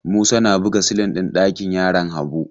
Musa na buga silin ɗin ɗakin yaran Habu.